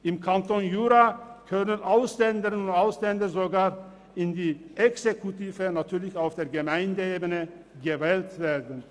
Im Kanton Jura können Ausländerinnen und Ausländer sogar in die Exekutive – natürlich auf Gemeindeebene – gewählt werden.